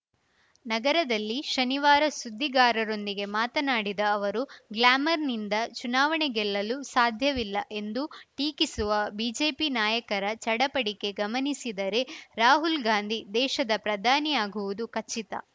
ನಗರದಲ್ಲಿ ಶನಿವಾರ ಸುದ್ದಿಗಾರರೊಂದಿಗೆ ಮಾತನಾಡಿದ ಅವರು ಗ್ಲಾಮರ್‌ನಿಂದ ಚುನಾವಣೆ ಗೆಲ್ಲಲು ಸಾಧ್ಯವಿಲ್ಲ ಎಂದು ಟೀಕಿಸುವ ಬಿಜೆಪಿ ನಾಯಕರ ಚಡಪಟಿಕೆ ಗಮನಿಸಿದರೆ ರಾಹುಲ್‌ ಗಾಂಧಿ ದೇಶದ ಪ್ರಧಾನಿಯಾಗುವುದು ಖಚಿತ